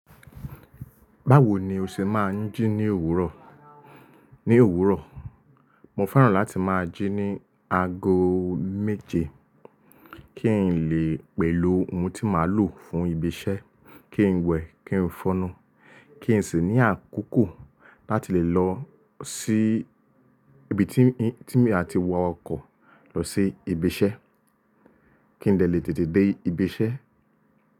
Báwo ni o ṣe máa ń jí ní òwúrọ̀? Ní òwúrọ̀, mo fẹ́ràn láti máa jí ní ago méje kí n lè pèló ohun tí màá lò fún ibi iṣẹ́, kí n wẹ̀, kí n fọ́nu, kí n sì ní àkókò láti lè lọ sí ibi tí, tí mi a ti wọ ọkọ̀ lọ sí ibi iṣẹ́. Kí n lè tètè dé ibi iṣẹ́